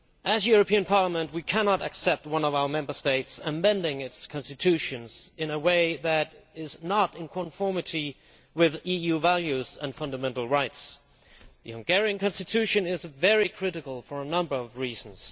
The European Parliament cannot accept one of the Member States bending its constitution in a way that is not in conformity with EU values and fundamental rights. The Hungarian constitution is alarming for a number of reasons.